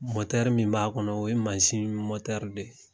min b'a kɔnɔ o ye de ye.